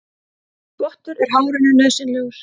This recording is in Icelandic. Þvottur er hárinu nauðsynlegur.